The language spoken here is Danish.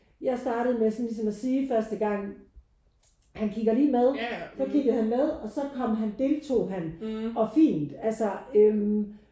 Jeg startede med sådan ligesom at sige første gang han kigger lige med. Så kiggede han med og så kom han deltog han og fint altså øh